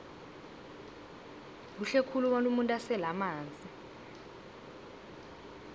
kuhle khulu bona umuntu asele amanzi